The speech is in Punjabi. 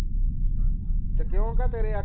ਤੇ ਕਿਊ ਕਾ ਤੇਰੇ ਆਖੇ